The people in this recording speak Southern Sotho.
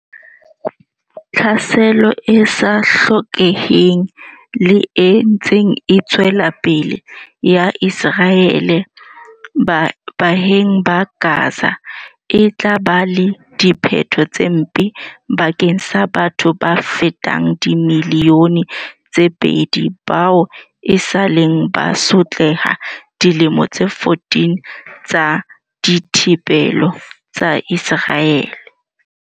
Tlhaselo e sa hlokeheng le e ntseng e tswela pele ya Ise raele baahing ba Gaza e tla ba le diphetho tse mpe bakeng sa batho ba fetang dimili yone tse pedi bao esaleng ba sotleha ka dilemo tse 14 tsa dithibelo tsa Iseraele.